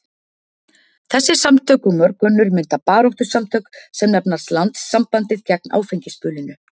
Þessi samtök og mörg önnur mynda baráttusamtök sem nefnast Landssambandið gegn áfengisbölinu.